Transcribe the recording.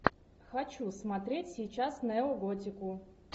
хочу смотреть сейчас неоготику